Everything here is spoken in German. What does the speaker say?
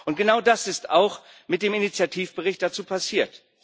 Und genau das ist auch mit dem Initiativbericht dazu passiert.